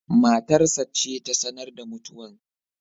matar sa ce ta sanar da mutuwan.